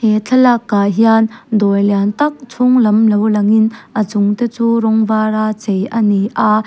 he thlalak ah hian dawr lian tak chhunglam lo lang in a chung te chu rawng var a chei ani a.